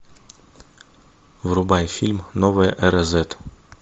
врубай фильм новая эра зет